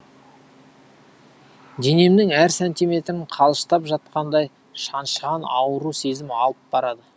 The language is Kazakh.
денемнің әр сантиметрін қалыштап жатқандай шаншыған ауру сезім алып барады